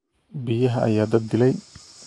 Biyaha ayaa dad dilay